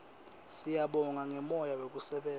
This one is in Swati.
siyabonga ngemoya wekusebenta